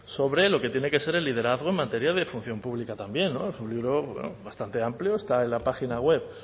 sobre lo que tiene que ser el liderazgo en materia de función pública también es un libro bastante amplio está en la página web